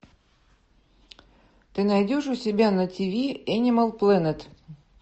ты найдешь у себя на тиви энимал плэнет